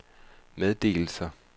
meddelelser